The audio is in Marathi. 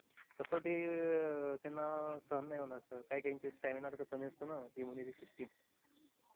तसं ते त्यांना सहन नाही होणार sir काही काहींचा stamina कमी असतो ना immunity system